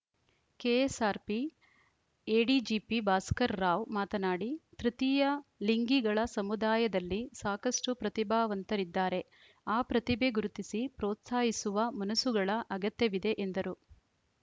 KSRP ADGP Bhaskar Rao ಮಾತನಾಡಿ ತೃತೀಯ ಲಿಂಗಿಗಳ ಸಮುದಾಯದಲ್ಲಿ ಸಾಕಷ್ಟುಪ್ರತಿಭಾವಂತರಿದ್ದಾರೆ ಆ ಪ್ರತಿಭೆ ಗುರುತಿಸಿ ಪ್ರೋತ್ಸಾಹಿಸುವ ಮನಸುಗಳ ಅಗತ್ಯವಿದೆ ಎಂದರು